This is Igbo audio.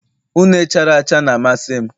Une chara acha na-amasị m